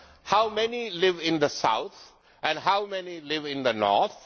How many live in the south, and how many live in the north?